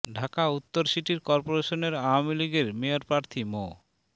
ঢাকা উত্তর সিটি কর্পোরেশনের আওয়ামী লীগের মেয়র প্রার্থী মো